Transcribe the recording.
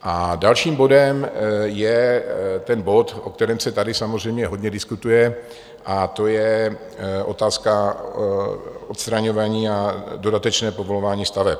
A dalším bodem je ten bod, o kterém se tady samozřejmě hodně diskutuje, a to je otázka odstraňování a dodatečného povolování staveb.